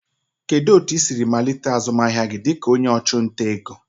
Kedu otu ị siri malite azụmahịa gị dịka onye ọchụnta ego?